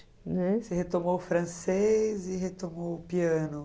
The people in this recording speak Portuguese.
Você retomou o francês e retomou o piano. Né?